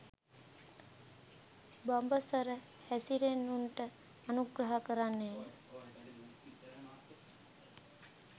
බඹසර හැසිරෙන්නවුනට අනුග්‍රහ කරන්නේය.